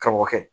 Ka bɔ kɛ